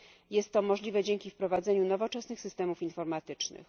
Jest to możliwe dzięki wprowadzeniu nowoczesnych systemów informatycznych.